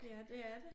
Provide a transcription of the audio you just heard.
Ja det er det